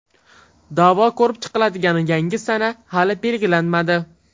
Da’vo ko‘rib chiqiladigan yangi sana hali belgilanmadi.